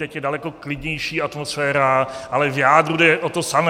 Teď je daleko klidnější atmosféra, ale v jádru jde o to samé.